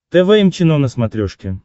тэ вэ эм чено на смотрешке